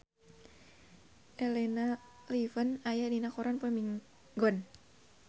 Elena Levon aya dina koran poe Minggon